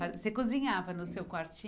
você cozinhava no seu